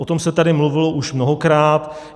O tom se tady mluvilo už mnohokrát.